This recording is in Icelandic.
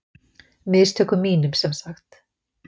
Mistökum mínum, sem sagt!